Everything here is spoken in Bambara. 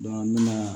ne ma